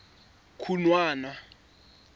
khunwana